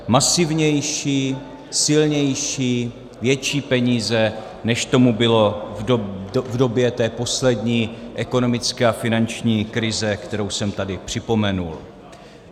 Masivnější, silnější, větší peníze, než tomu bylo v době té poslední ekonomické a finanční krize, kterou jsem tady připomenul.